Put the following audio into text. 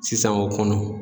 Sisan o kɔnɔ.